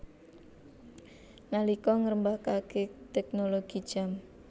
Nalika ngrembakake teknologi jam